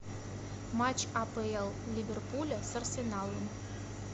матч апл ливерпуля с арсеналом